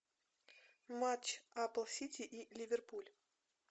матч апл сити и ливерпуль